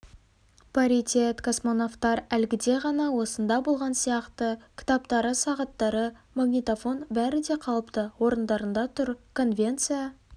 паритет космонавтар әлгіде ғана осында болған сияқты кітаптары сағаттары магнитофон бәрі де қалыпты орындарында тұр конвенция